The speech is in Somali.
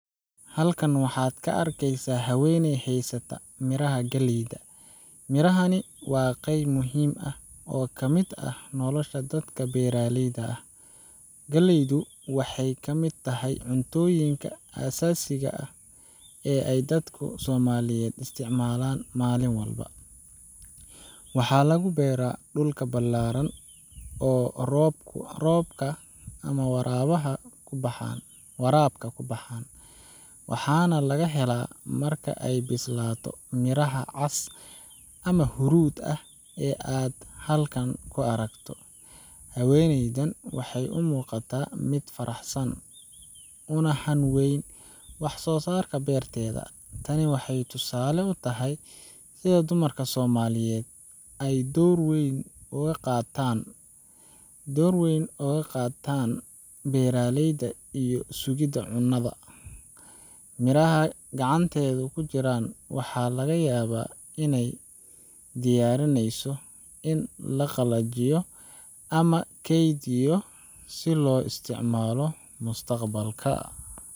Halkan waxaad ka arkeysaa haweeney haysta miraha galleyda. Mirahani waa qeyb muhiim ah oo ka mid ah nolosha dadka beeraleyda ah. Galleydu waxay ka mid tahay cuntooyinka aasaasiga ah ee ay dadka Soomaaliyeed isticmaalaan maalin walba. Waxaa lagu beeraa dhul ballaaran oo roobka ama waraabka ku baxa, waxaana laga helaa marka ay bislaato miraha cas ama huruud ah ee aad halkan ku aragto. Haweeneydan waxay u muuqataa mid faraxsan, una hanweyn wax-soosaarka beerteeda. Tani waxay tusaale u tahay sida dumarka Soomaaliyeed ay door weyn uga qaataan beeraleyda iyo sugidda cunnada. Miraha gacanteeda ku jira waxaa laga yaabaa inay u diyaarinayso in la qalajiyo ama la keydiyo si loo isticmaalo mustaqbalka.